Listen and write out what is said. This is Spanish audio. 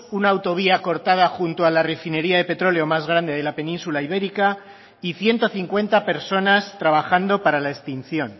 una autovía cortada junto a la refinería de petróleo más grande de la península ibérica y ciento cincuenta personas trabajando para la extinción